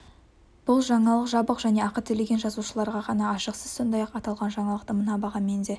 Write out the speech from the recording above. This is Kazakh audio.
бұл жаңалық жабық және ақы төлеген жазылушыларға ғана ашық сіз сондай-ақ аталған жаңалықты мына бағамен де